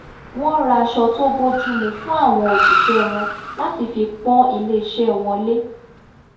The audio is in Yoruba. wọ́n ra aṣọ tó bójúmu fún àwọn òṣìṣẹ́ wọn láti fi pó̩n ilés̩e̩ wo̩n lé